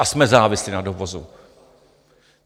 A jsme závislí na dovozu.